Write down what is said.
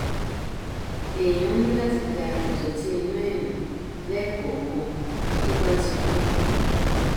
èèyàn ní láti da ìdọtí inú ẹ nù lẹẹkọọkan tó bá ti kún